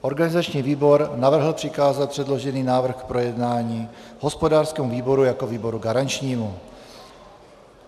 Organizační výbor navrhl přikázat předložený návrh k projednání hospodářskému výboru jako výboru garančnímu.